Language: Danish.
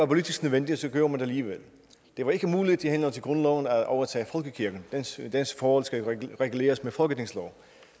politisk nødvendigt gjorde man det alligevel det var ikke muligt i henhold til grundloven at overtage folkekirken dens forhold skulle reguleres med en folketingslov